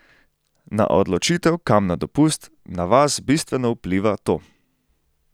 Na odločitev, kam na dopust, na vas bistveno vpliva to!